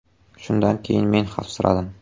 Shundan keyin men xavfsiradim.